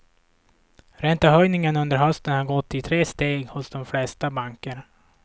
Räntehöjningen under hösten har gått i tre steg hos de flesta banker.